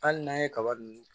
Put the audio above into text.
Hali n'an ye kaba dun